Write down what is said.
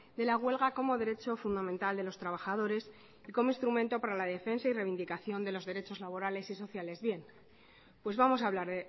de la huelga como derecho fundamental de los trabajadores y como instrumento para la defensa y reivindicación de los derechos laborales y sociales bien pues vamos a hablar